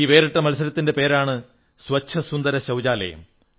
ഈ വേറിട്ട മത്സരത്തിന്റെ പേരാണ് സ്വച്ഛസുന്ദരശൌചാലയം